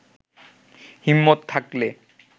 হিম্মত থাকলে